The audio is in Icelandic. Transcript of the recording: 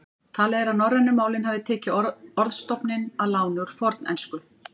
Talið er að norrænu málin hafi tekið orðstofninn að láni úr fornensku.